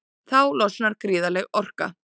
Þá losnar gríðarleg orka.